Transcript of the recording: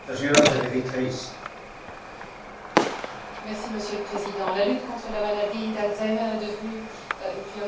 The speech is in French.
Monsieur le Président, la lutte contre la maladie d'Alzheimer est devenue une priorité européenne ces dernières années et il était temps.